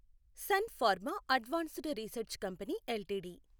sun Pharma advanced research company LTD